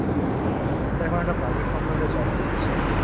আমি তো এখন একটা Private Company তে Job করছি